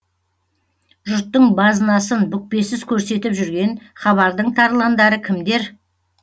жұрттың базынасын бүкпесіз көрсетіп жүрген хабардың тарландары кімдер